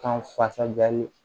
Kan fasa bɛɛ ye